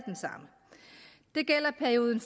den samme det gælder perioden